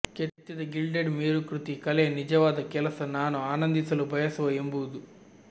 ಕೆತ್ತಿದ ಗಿಲ್ಡೆಡ್ ಮೇರುಕೃತಿ ಕಲೆಯ ನಿಜವಾದ ಕೆಲಸ ನಾನು ಆನಂದಿಸಲು ಬಯಸುವ ಎಂಬುದು